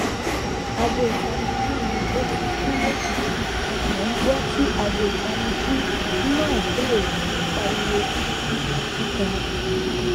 aago itaniji mi o tii ku lojiji mo n gbọ ti aago itaniji ina bẹrẹ si ni pariwo kikan kikan